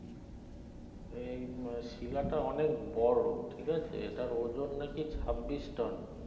এই বো শিলা টা অনেক বড় ঠিক আছে সেটার ওজন না কি ছাব্বিশ টোন